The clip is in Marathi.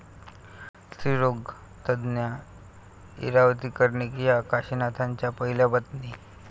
स्त्रीरोगतज्ज्ञ इरावती कर्णिक या काशिनाथांच्या पहिल्या पत्नी.